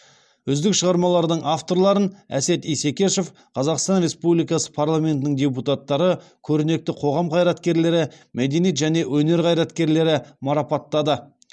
үздік шығармалардың авторларын әсет исекешев қазақстан республикасы парламентінің депутаттары көрнекті қоғам қайраткерлері мәдениет және өнер қайраткерлері марапаттады